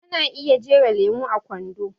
Ana iya jera lemo a kwando